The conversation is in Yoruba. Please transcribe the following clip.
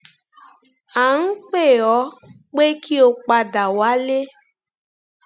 à ń pè ọ pé kí o padà wálé